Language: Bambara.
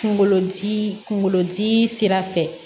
Kunkolodi kunkolodi sira fɛ